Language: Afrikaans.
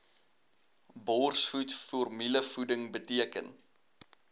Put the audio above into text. borsvoed formulevoeding beteken